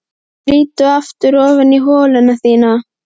Skríddu aftur ofan í holuna þína.